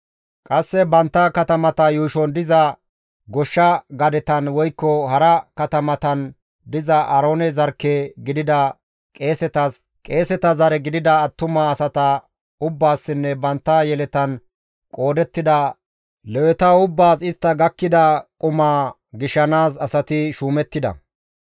Qasse bantta katamata yuushon diza goshsha gadetan woykko hara katamatan diza Aaroone zarkke gidida qeesetas, qeeseta zare gidida attuma asata ubbaassinne bantta yeletan qoodettida Leweta ubbaas istta gakkida qumaa shaakkanaas asati shuumettida.